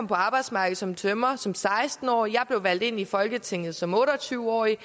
på arbejdsmarkedet som tømrer som seksten årig jeg blev valgt ind i folketinget som otte og tyve årig